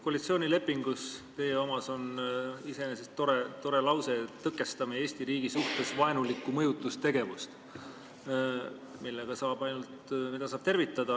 Koalitsioonilepingus on iseenesest tore lause: "Tõkestame Eesti riigi suhtes vaenulikku mõjutustegevust.", mida saab ainult tervitada.